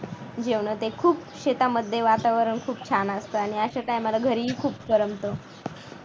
जेवण ते खूप शेतामध्ये वातावरण खूप छान असतं आणि अशा time ला घरी ही खूप करमत